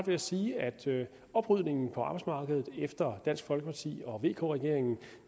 jeg sige at oprydningen på arbejdsmarkedet efter dansk folkeparti og vk regeringen